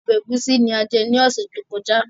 Ọbẹ̀ ẹ̀gúsí ni a jẹ ní ọ̀sẹ̀ tó kọjá